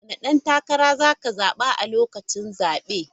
Wane dan takara za ka zaba a lokacin zabe?